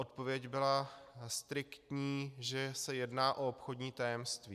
Odpověď byla striktní, že se jedná o obchodní tajemství.